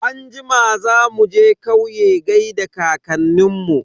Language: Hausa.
Anjima za muje kauye gaida kankanin mu.